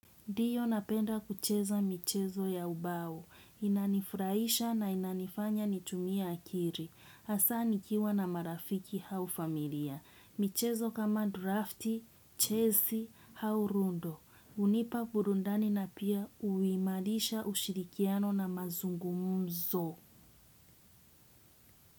Ndiyo napenda kucheza michezo ya ubao. Inanifuraisha na inanifanya nitumia akili. Hasa nikiwa na marafiki au familia. Michezo kama drafti, chesi, au ludo. Hunipa burundani na pia huimarisha ushirikiano na mazungumumzo.